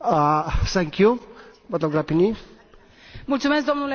Îmi lăsați impresia, stimate coleg, că nu ați citit Raportul Tarabella.